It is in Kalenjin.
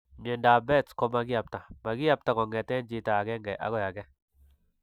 Myondap behet's koma kiyabta; makiyabta kongeten chiito agenge ako age.